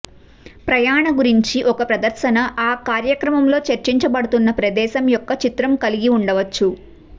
ప్రయాణ గురించి ఒక ప్రదర్శన ఆ కార్యక్రమంలో చర్చించబడుతున్న ప్రదేశం యొక్క చిత్రం కలిగి ఉండవచ్చు